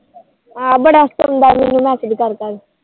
ਬੜਾ ਹਸਾਉਂਦਾ ਮੈਨੂੰ MSG ਕਰ ਕਰਕੇ